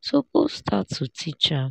suppose start to teach am.